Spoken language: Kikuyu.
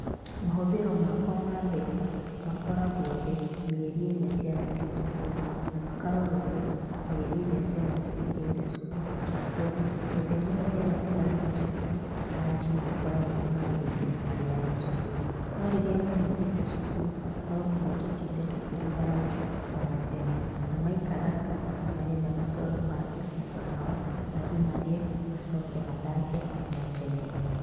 Mahũthĩro makwa ma mbeca makoragwo thĩ mĩeri ĩrĩa ciana ciĩ cukuru na makoragwo igũrũ mĩeri ĩria ciana cihingĩte cũkuru, tondũ mĩthenya ĩyo ciana cirathiĩ cũkuru ranji nĩngoragwo ndĩmarĩhĩire marĩyaga cũkuru, no rĩrĩa mahingĩte cũkuru no nginya tũtinde tũkĩrũga ranji o mũthenya, na maikaranga nĩmarenda matwarwo handũ mũkawa mathiĩ marĩe macoke mathake mekenere.